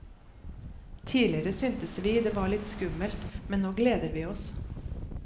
Tidligere syntes vi det var litt skummelt, men nå gleder vi oss.